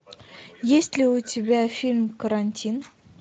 есть ли у тебя фильм карантин